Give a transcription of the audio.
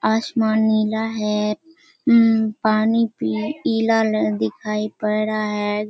आसमान नीला है हम्म पानी पीला दिखाई पड़ रहा है।